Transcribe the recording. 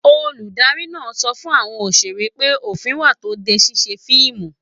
Olùdarí náà sọ fún àwọn òṣèré pé òfin wà tó n dé ṣiṣe fíìmù.